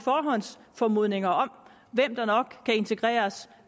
formodninger om hvem der nok kan integreres